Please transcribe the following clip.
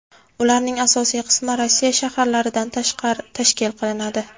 Ularning asosiy qismi Rossiya shaharlaridan tashkil qilinadi.